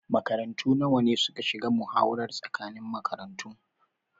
Makarantu nawa ne suka shiga muhawarar tsakanin makarantu?